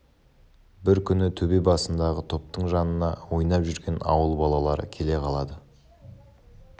бір күні төбе басындағы топтың жанына ойнап жүрген ауыл балалары келе қалады